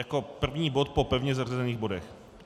Jako první bod po pevně zařazených bodech.